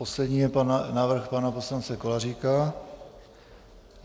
Poslední je návrh pana poslance Kolaříka.